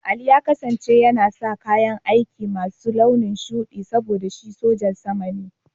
Ali yana sa kayan aiki masu launin shuɗi saboda shi sojan sama ne.